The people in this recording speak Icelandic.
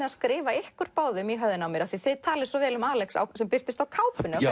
að skrifa ykkur í höfðinu á mér af því þið talið svo vel um Alex sem birtist á kápunni